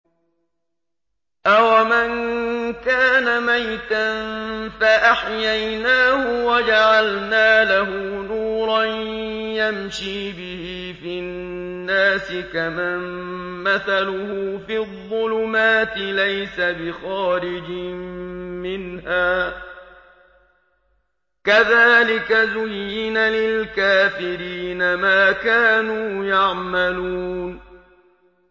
أَوَمَن كَانَ مَيْتًا فَأَحْيَيْنَاهُ وَجَعَلْنَا لَهُ نُورًا يَمْشِي بِهِ فِي النَّاسِ كَمَن مَّثَلُهُ فِي الظُّلُمَاتِ لَيْسَ بِخَارِجٍ مِّنْهَا ۚ كَذَٰلِكَ زُيِّنَ لِلْكَافِرِينَ مَا كَانُوا يَعْمَلُونَ